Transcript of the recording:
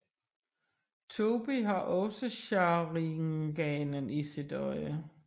Tobi har også sharinganen i sit øje